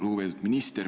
Lugupeetud minister!